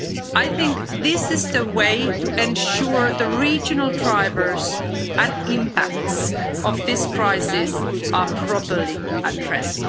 I think this is the way to ensure the regional drivers and impacts of this crisis are properly addressed.